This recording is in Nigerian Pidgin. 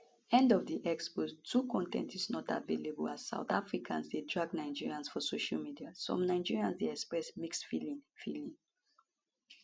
end of x post 2 con ten t is not available as south africans dey drag nigerians for social media some nigerians dey express mixed feeling feeling